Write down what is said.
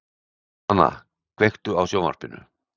Dana, kveiktu á sjónvarpinu.